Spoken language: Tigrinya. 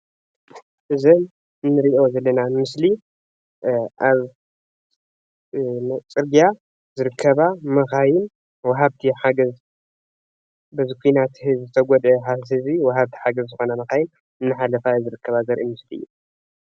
እዚ እነሪኦ ዘለና ምስሊ አብ ፅርግያ ዝርከባ መካይን ወሃብቲ ሓገዝ በቲ ኩናት ንዝተጉደእ ህዝቢ ወሃብቲ ሓገዝ ዝኮና መካይን እናሓለፋ ዝርከባ ዘርኢ ምስሊ እዩ፡፡